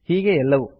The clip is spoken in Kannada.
ಹೀಗೆಯೇ ಎಲ್ಲವೂ